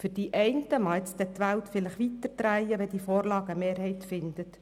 Für einzelne mag sich die Welt weiter drehen, wenn diese Vorlage eine Mehrheit findet.